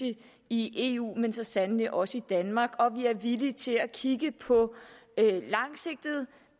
i eu men så sandelig også i danmark og vi er villige til at kigge på langsigtede